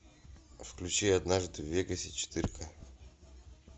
включи однажды в вегасе четырка